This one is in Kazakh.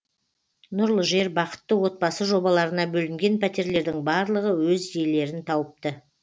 нұрлы жер бақытты отбасы жобаларына бөлінген пәтерлердің барлығы өз иелерін тауыпты